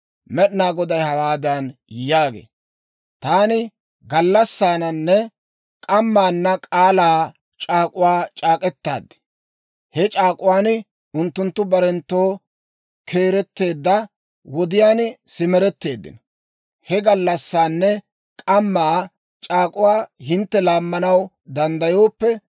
Med'inaa Goday hawaadan yaagee; «Taani gallassaananne k'ammaana k'aalaa c'aak'uwaa c'aak'k'etaad; he c'aak'uwaan unttunttu barenttoo keeretteedda wodiyaan simeretteeddino. He gallassaanne k'ammaa c'aak'uwaa hintte laammanaw danddayooppe,